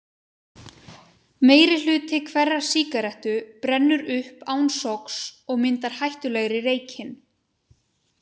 Meirihluti hverrar sígarettu brennur upp án sogs og myndar hættulegri reykinn.